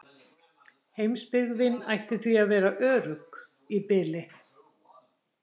Heimsbyggðin ætti því að vera örugg í bili.